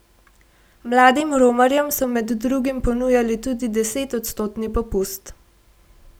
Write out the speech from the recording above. Mladim romarjem so med drugim ponujali tudi deset odstotni popust.